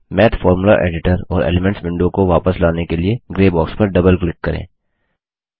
माथ formula editor और elements window को वापस लाने के लिए ग्रे बॉक्स पर डबल क्लिक करें